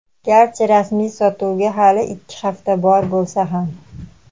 garchi rasmiy sotuvga hali ikki hafta bor bo‘lsa ham.